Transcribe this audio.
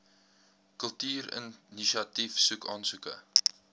kultuurinisiatief soek aansoeke